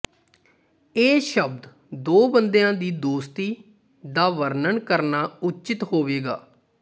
ਇਹ ਸ਼ਬਦ ਦੋ ਬੰਦਿਆਂ ਦੀ ਦੋਸਤੀ ਦਾ ਵਰਣਨ ਕਰਨਾ ਉਚਿਤ ਹੋਵੇਗਾ